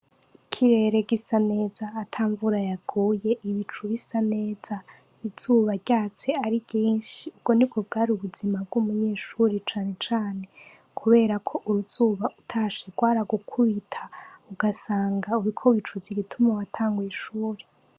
Ikirere gisa neza ata mvura yaguye, ibicu bisa neza. Izuba ryatse ari ryinshi, ubwo nibwo bwari ubuzima bw'umunyeshure cane cane kubera ko uruzuba utashe rwaragukubita ugasanga uriko wicuza igituma watanguye ishuri.